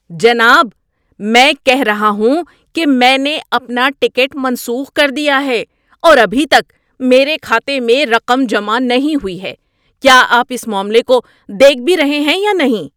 جناب! میں کہہ رہا ہوں کہ میں نے اپنا ٹکٹ منسوخ کر دیا ہے اور ابھی تک میرے کھاتے میں رقم جمع نہیں ہوئی ہے۔ کیا آپ اس معاملے کو دیکھ بھی رہے ہیں یا نہیں؟